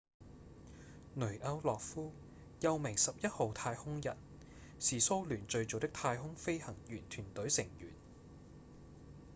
雷歐諾夫又名「11號太空人」是蘇聯最早的太空飛行員團隊成員